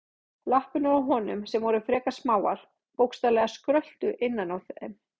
Lappirnar á honum, sem voru frekar smáar, bókstaflega skröltu innan í þeim.